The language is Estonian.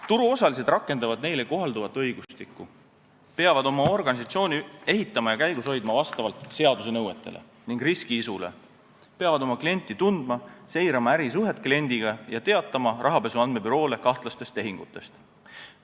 Turuosalised rakendavad neile kohalduvat õigustikku: nad peavad oma organisatsiooni ehitama ja käigus hoidma vastavalt seaduse nõuetele ning riski-isule, peavad oma klienti tundma, seirama ärisuhet kliendiga ja teatama rahapesu andmebüroole kahtlastest tehingutest.